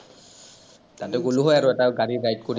তাতে গ’লো হয় আৰু এটা গাড়ী বাইক কৰি কেনে চবেই